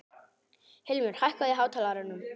Hilmir, hækkaðu í hátalaranum.